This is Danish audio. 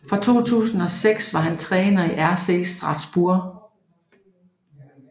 Fra 2006 har han været træner i RC Strasbourg